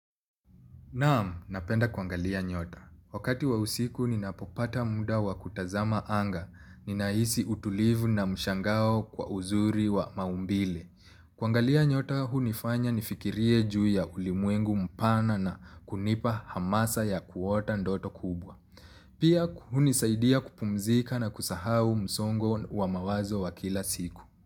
Naam, napenda kuangalia nyota. Wakati wa usiku, ninapopata muda wa kutazama anga. Ninahisi utulivu na mshangao kwa uzuri wa maumbile. Kuangalia nyota, hunifanya nifikirie juu ya ulimwengu mpana na kunipa hamasa ya kuota ndoto kubwa. Pia, hunisaidia kupumzika na kusahau msongo wa mawazo wa kila siku.